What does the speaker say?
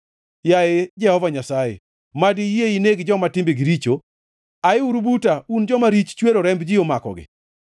Yaye Jehova Nyasaye, mad iyie ineg joma timbegi richo! Ayiuru buta, un joma rich chwero remb ji omakogi!